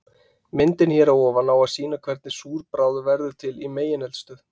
Myndin hér að ofan á að sýna hvernig súr bráð verður til í megineldstöð.